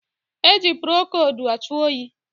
E ji prokodu achụ oyi